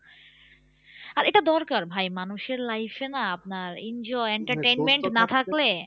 আর এটা দরকার ভাই মানুষের life এ না আপনার enjoy entertainment না থাকলে